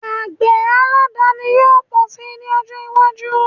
Àgbẹ̀ aládàani yóò pọ̀ si ní ọjọ́ iwájú